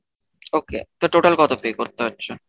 Okay. তো total কত pay করতে হচ্ছে?